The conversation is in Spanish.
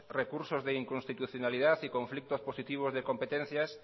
recursos de inconstitucionalidad y conflictos positivos de competencias